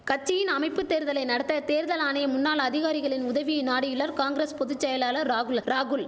கட்சியின் அமைப்பு தேர்தலை நடத்த தேர்தல் ஆணைய முன்னாள் அதிகாரிகளின் உதவியை நாடியுள்ளார் காங்கிரஸ் பொது செயலாளர் ராகுல ராகுல்